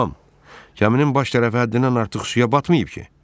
Tom, gəminin baş tərəfi həddindən artıq suya batmayıb ki?